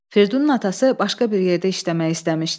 Fridunun atası başqa bir yerdə işləmək istəmişdi.